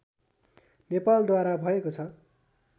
नेपालद्वारा भएको छ